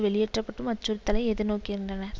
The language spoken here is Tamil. வெளியேற்றப்படும் அச்சுறுத்தலை எதிர்நோக்கிந்தனர்